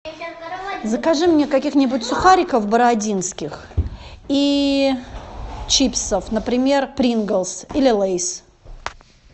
закажи мне каких нибудь сухариков бородинских и чипсов например принглс или лейс